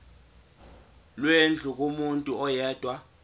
lwendlu kumuntu oyedwa